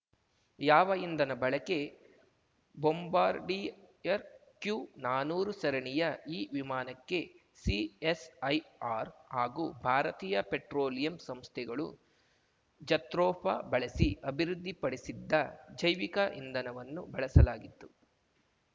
ಯಾವ ಇಂಧನ ಬಳಕೆ ಬೊಂಬಾರ್ಡಿಯರ್‌ ಕ್ಯುನಾನೂರು ಸರಣಿಯ ಈ ವಿಮಾನಕ್ಕೆ ಸಿಎಸ್‌ಐಆರ್‌ ಹಾಗೂ ಭಾರತೀಯ ಪೆಟ್ರೋಲಿಯಂ ಸಂಸ್ಥೆಗಳು ಜತ್ರೋಫಾ ಬಳಸಿ ಅಭಿವೃದ್ಧಿಪಡಿಸಿದ್ದ ಜೈವಿಕ ಇಂಧನವನ್ನು ಬಳಸಲಾಗಿತ್ತು